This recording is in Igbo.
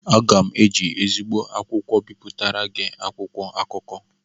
Aga m eji ezigbo akwụkwọ bipụtara gị akwụkwọ akụkọ